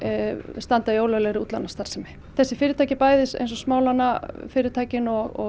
standa í ólöglegri útlánastarfsemi þessi fyrirtæki smálánafyrirtækin og